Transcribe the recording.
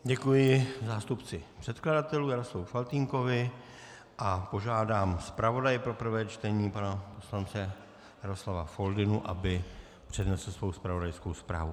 Děkuji zástupci předkladatelů Jaroslavu Faltýnkovi a požádám zpravodaje pro prvé čtení pana poslance Jaroslava Foldynu, aby přednesl svou zpravodajskou zprávu.